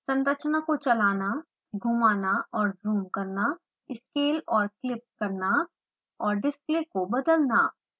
संरचना को चलाना घुमाना और ज़ूम करना स्केल और क्लिप करना और डिस्प्ले को बदलना